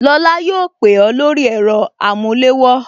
Lola yóò pè ó lórí ẹ̀rọ amulewo